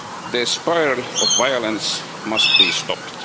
The spiral of violence must be stopped.